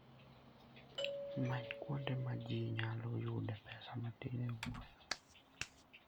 Many kuonde ma ji nyalo yudee pesa matin e wuoth.